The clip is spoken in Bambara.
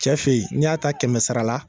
Cɛ fɛ yen n'i y'a ta kɛmɛ sara la.